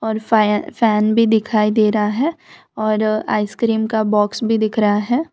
फै फैन भी दिखाई दे रहा है और आइसक्रीम का बॉक्स भी दिख रहा है।